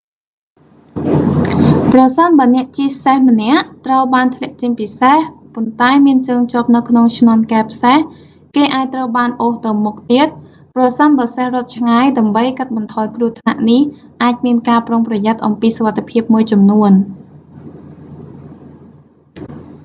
ប្រសិនបើអ្នកជិះសេះម្នាក់ ត្រូវបានធ្លាក់ចេញពីសេះ ប៉ុន្តែមានជើងជាប់នៅក្នុងឈ្នាន់កែបសេះ គេអាចត្រូវបានអូសទៅមុខទៀត ប្រសិនបើសេះរត់ឆ្ងាយ ដើម្បីកាត់បន្ថយគ្រោះថ្នាក់នេះអាចមានការប្រុងប្រយ័ត្នអំពីសុវត្ថិភាពមួយចំនួន